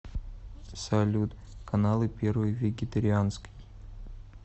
салют каналы первый вегетарианский